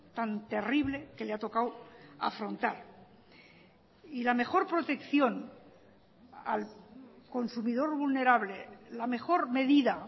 tan terrible que le ha tocado afrontar y la mejor protección al consumidor vulnerable la mejor medida